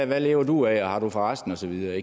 hvad lever du af og har du for resten og så videre